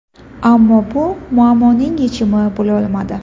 Ammo bu muammoning yechimi bo‘lolmadi.